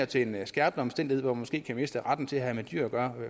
til en skærpende omstændighed hvor man måske kan miste retten til at have med dyr at gøre